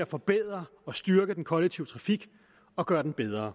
at forbedre og styrke den kollektive trafik og gøre den bedre